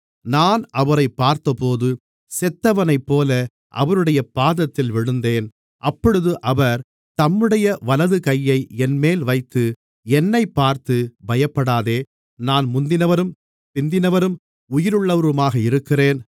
நான் அவரைப் பார்த்தபோது செத்தவனைப்போல அவருடைய பாதத்தில் விழுந்தேன் அப்பொழுது அவர் தம்முடைய வலது கையை என்மேல் வைத்து என்னைப் பார்த்து பயப்படாதே நான் முந்தினவரும் பிந்தினவரும் உயிருள்ளவருமாக இருக்கிறேன்